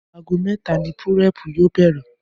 Aago mé̩ta ni púré̩è̩pù yóò bè̩rè̩